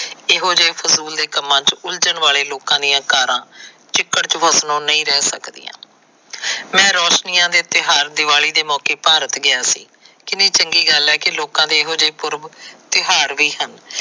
ਇਹੋ ਜਿਹੇ ਫਜ਼ੂਲ ਦੇ ਕੰਮਾਂ ਚ ਉਲਜਣ ਵਾਲੇ ਲੋਕਾਂ ਦੀਆਂ ਕਾਰਾਂ ਚਿੱਕੜ ਚ ਫਸਨੋ ਨਹੀ ਰਹਿ ਸਕਦੀਆਂ। ਮੈ ਰੋਸ਼ਨੀਆਂ ਦੇ ਤਿਉਹਾਰ ਦਿਵਾਲੀ ਦੇ ਮੌਕੇ ਭਾਰਤ ਗਿਆ ਸੀ ਕਿੰਨੀ ਚੰਗੀ ਗੱਲ ਹੈ ਕਿ ਲੋਕਾਂ ਦੇ ਇਹੋ ਪੁਰਬ ਤਿਉਹਾਰ ਵੀ ਹਨ।